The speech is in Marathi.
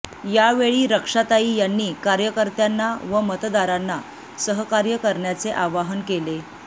यावेळी रक्षाताई यांनी कार्यकर्त्यांना व मतदारांना सहकार्य करण्याचे आवाहन केले